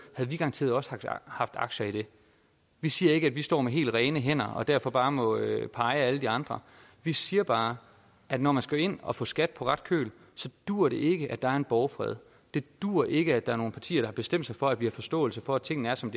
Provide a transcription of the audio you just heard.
havde vi garanteret også haft aktier i det vi siger ikke at vi står med helt rene hænder og derfor bare må pege ad alle de andre vi siger bare at når man skal ind og få skat på ret køl så duer det ikke at der er en borgfred det duer ikke at der er nogle partier der har bestemt sig for at vi har forståelse for at tingene er som